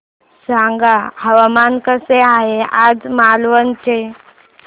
सांगा हवामान कसे आहे आज मालवण चे